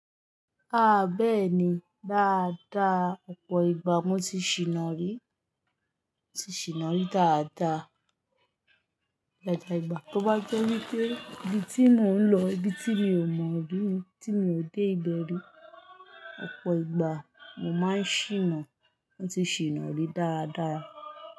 Ah bẹ́ẹ̀ni, dáadáa. Ọ̀pọ̀ ìgbà mo ti ṣìná rí, mo ti ṣìná rí dáadáa, dáadáa ìgbà. Tó bá jẹ́ wípé ibi tí mò ń lọ, ibi tí mi ò mọ̀ rí, tí mi ò dé ìbẹ̀rẹ̀, ọ̀pọ̀ ìgbà mo máa ń ṣìná, mo ti ṣìná rí dáradára.